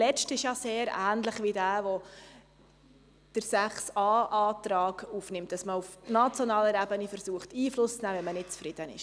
Der letzte ist sehr ähnlich wie der Antrag der Planungserklärung 6a, wonach auf nationaler Ebene Einfluss genommen werden soll.